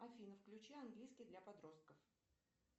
афина включи английский для подростков